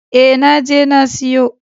E, na je na siyo.